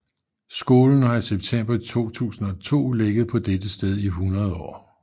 Skolen har i september 2002 ligget på dette sted i 100 år